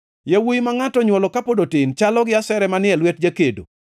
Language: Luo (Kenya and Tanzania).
Yawuowi ma ngʼato onywolo kapod otin, chalo gi asere manie lwet jakedo.